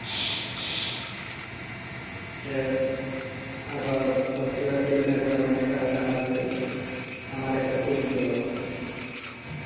আচ্ছা গান আছে আমার একটা তুমি হলো না